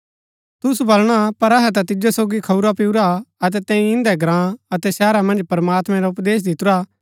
तुसु बलणा पर अहै ता तिजो सोगी खऊंरापिऊरा अतै तैंई इन्दै ग्राँ अतै शहरा मन्ज प्रमात्मैं रा उपदेश दितुरा